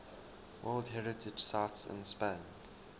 world heritage sites in spain